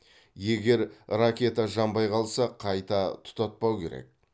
егер ракета жанбай қалса қайта тұтатпау керек